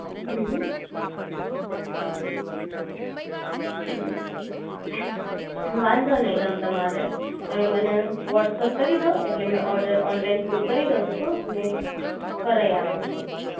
હમ્મ હમ્મ હમ્મ વાંધો નઇ તમ તમારે તમે મને વૉટ્સઅપ કરી ડો એટલે મે ઓર્ડર ઓનલાઇન ફૂડ કરી દવ છું ને કરાઇ આપું છું